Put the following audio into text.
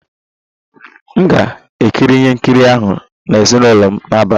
M ga-ekiri ihe nkiri ahụ na ezinụlọ m n'abalị a